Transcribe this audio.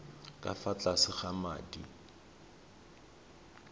ka fa tlase ga madi